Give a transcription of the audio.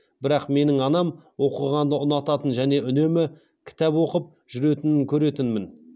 бірақ менің анам оқығанды ұнататын және үнемі кітеп оқып жүретінін көретінмін